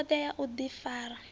na thodea ya u difara